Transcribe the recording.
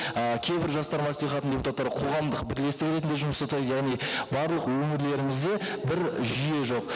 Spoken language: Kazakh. ы кейбір жастар мәслихатының депутаттары қоғамдық бірлестігі ретінде жұмыс жасайды яғни барлық өңірлерімізде бір жүйе жоқ